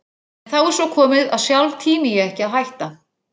En þá er svo komið að sjálf tími ég ekki að hætta.